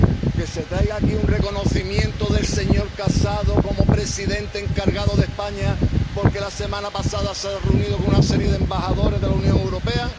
¿Que se traiga aquí un reconocimiento del señor Casado como presidente encargado de España porque la semana pasada se reunió con una serie de embajadores de la Unión Europea?